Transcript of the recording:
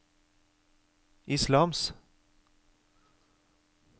islams